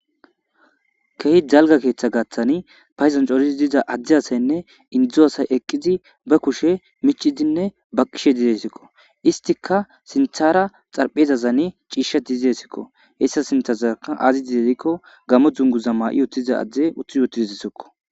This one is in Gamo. Keh jalga keeththa gaththani payzancorizi diza addi asaynne indzdzu asay eqqizi ba kushe michidinne baqishe didesikko istika sinthara xarphezazane ciisha dizesikko hessa sinthazaka azi didedikko gamo dzunguza ma7i yotidiza adde utthi yotididisikko